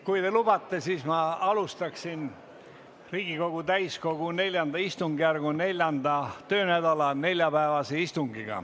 Kui te lubate, siis ma alustaksin Riigikogu täiskogu IV istungjärgu 4. töönädala neljapäevast istungit.